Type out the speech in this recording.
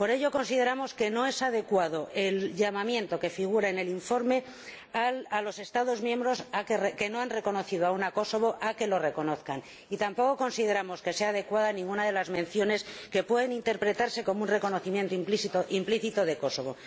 Por ello, consideramos que no es adecuado el llamamiento, que figura en el informe, a los Estados miembros que no han reconocido aún a Kosovo a que lo reconozcan, y tampoco consideramos que sea adecuada ninguna de las menciones que pueden interpretarse como un reconocimiento implícito de Kosovo.